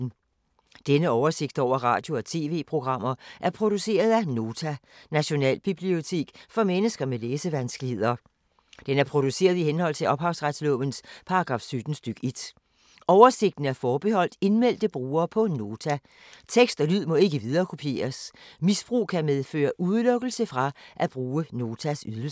Denne oversigt over radio og TV-programmer er produceret af Nota, Nationalbibliotek for mennesker med læsevanskeligheder. Den er produceret i henhold til ophavsretslovens paragraf 17 stk. 1. Oversigten er forbeholdt indmeldte brugere på Nota. Tekst og lyd må ikke viderekopieres. Misbrug kan medføre udelukkelse fra at bruge Notas ydelser.